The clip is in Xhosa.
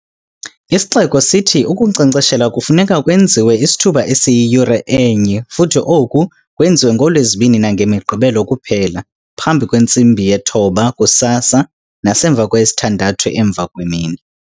Isixeko sithi ukunkcenkceshela kufuneka kwenziwe isithuba esiyiyure enye futhi oku kwenziwe ngooLwezibini nangeMigqibelo kuphela, phambi kwentsimbi yesithoba kusasa nasemva kweyesithandathu emva kwemini.